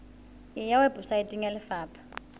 e ya weposaeteng ya lefapha